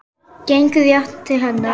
Gengur í áttina til hennar.